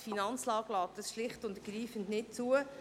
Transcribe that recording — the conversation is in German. Die Finanzlage lässt dies schlicht und ergreifend nicht zu.